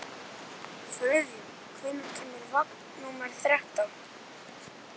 Friðjón, hvenær kemur vagn númer þrettán?